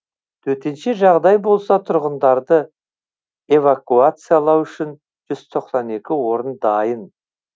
төтенше жағдай болса тұрғындарды эвакуациялау үшін жүз тоқсан екі орын дайын